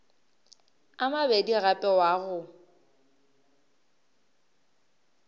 a mabedi gape wa go